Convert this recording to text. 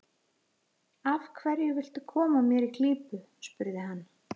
Af hverju viltu koma mér í klípu? spurði hann.